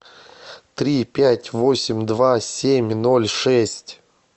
три пять восемь два семь ноль шесть